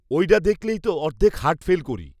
ঐডা দেখলেই তো অর্ধেক হার্ট ফেল করি